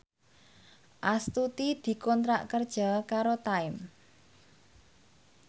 Astuti dikontrak kerja karo Time